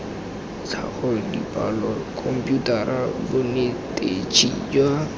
tlhago dipalo khomputara bonetetshi jwa